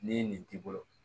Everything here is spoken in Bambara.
Ni nin t'i bolo